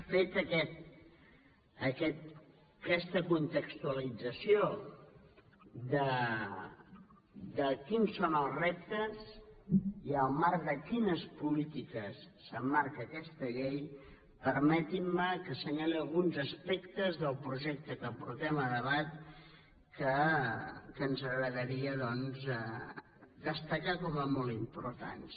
feta aquesta contextualització de quins són els reptes i al marc de quines polítiques s’emmarca aquesta llei permetin me que assenyali alguns aspectes del projecte que portem a debat que ens agradaria doncs destacar com a molt importants